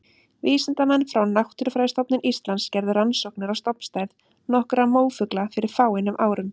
Vísindamenn frá Náttúrufræðistofnun Íslands gerðu rannsóknir á stofnstærð nokkurra mófugla fyrir fáeinum árum.